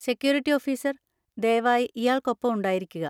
Security officer, ദയവായി ഇയാള്‍ക്കൊപ്പം ഉണ്ടായിരിക്കുക.